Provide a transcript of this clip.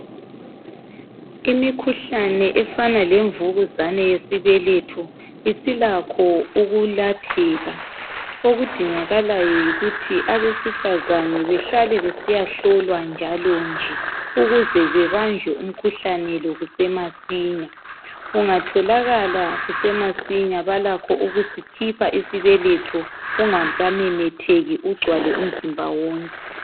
Imikhuhlane efana lemvukuzane yesibeletho ilakho ukulapheka okudingakalayo yikuthi abesifazane behlale besiyahlolwa njalo nje ukuze bebanjwe imikhuhlane ukuze ubanjwe umkhuhlane lo kusemasinya ,ungatholakala kusemasinya balakho ukusikhipha isibeletho kungaka memetheki ungcwale umzimba wonke